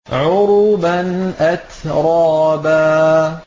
عُرُبًا أَتْرَابًا